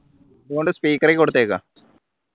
അതോണ്ട് speaker ൽ കൊടുത്തേക്കുവ